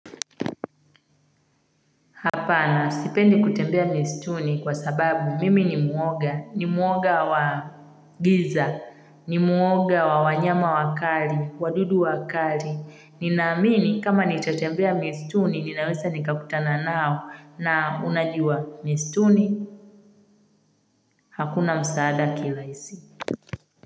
Hapana, sipendi kutembea mistuni kwa sababu mimi ni mwoga, ni mwoga wa giza, ni mwoga wa wanyama wakali, wadudu wakali. Ninaamini kama nitatembea mistuni, ninaweza nikakutana nao na unajua mistuni. Hakuna msaada kilaisi.